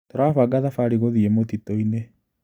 Tũrabanga thabarĩ gũthĩi mũtitũinĩ.